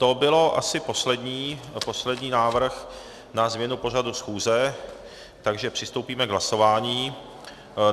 To byl asi poslední návrh na změnu pořadu schůze, takže přistoupíme k hlasování.